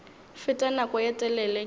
fete nako ye telele ke